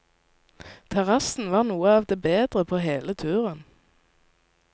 Terrassen var det noe av det bedre på hele turen.